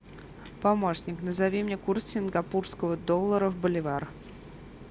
помощник назови мне курс сингапурского доллара в боливар